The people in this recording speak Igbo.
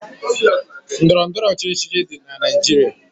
Ndọrọ ndọrọ ọchịchị dị na Naịjirịa.